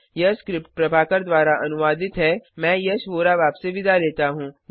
यह स्क्रिप्ट प्रभाकर द्वारा अनुवादित है मैं यश वोरा अब आपसे विदा लेता हूँ